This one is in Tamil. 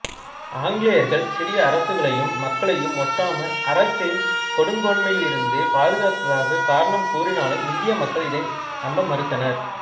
ஆங்கிலேயர்கள் சிறிய அரசுகளையும் மக்களையும் ஒட்டாமா அரசின் கொடுங்கோன்மையிலிருந்து பாதுகாத்ததாகக் காரணம் கூறினாலும் இந்திய மக்கள் இதனை நம்ப மறுத்தனர்